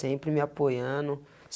sempre me apoiando.